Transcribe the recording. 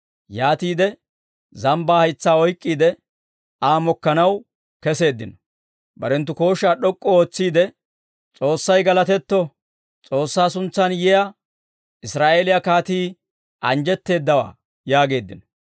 Yaatiide zambbaa haytsaa oyk'k'iide, Aa mokkanaw keseeddino. Barenttu kooshshaa d'ok'k'u ootsiide, «S'oossay galatetto! S'oossaa suntsan yiyaa Israa'eeliyaa kaatii anjjetteeddawaa!» yaageeddino.